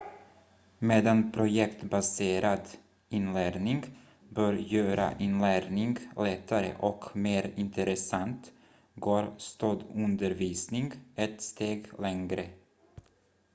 medan projektbaserad inlärning bör göra inlärning lättare och mer intressant går stödundervisning ett steg längre